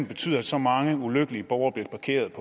betyder at så mange ulykkelige borgere bliver parkeret